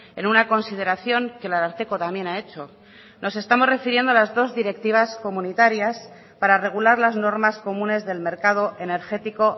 en una consideración que el ararteko también ha hecho nos estamos refiriendo a las dos directivas comunitarias para regular las normas comunes del mercado energético